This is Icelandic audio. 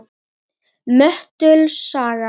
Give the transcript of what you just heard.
Möttuls saga